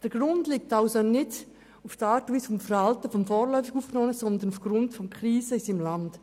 Der Grund hat nicht mit der Art und Weise des Verhaltens des vorläufig Aufgenommenen zu tun, sondern mit der Krise in dessen Herkunftsland.